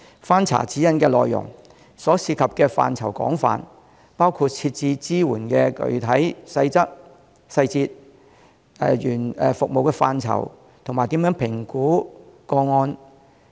翻查《指引》的內容，其涉及的範疇廣泛，包括支援的具體細節、服務範疇，以及如何評估和跟進案件等。